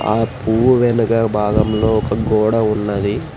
ఆ పువ్వు వెనుక భాగంలో ఒక గోడ ఉన్నది.